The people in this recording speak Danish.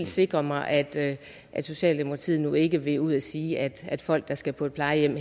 sikre mig at at socialdemokratiet nu ikke vil gå ud og sige at at folk der skal på plejehjem